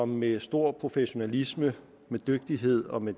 med stor professionalisme med dygtighed og med